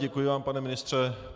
Děkuji vám, pane ministře.